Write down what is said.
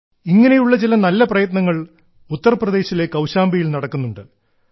ഇങ്ങനെയുള്ള ചില നല്ല പ്രയത്നങ്ങൾ ഉത്തർപ്രദേശിലെ കൌശാംബിയിൽ നടക്കുന്നുണ്ട്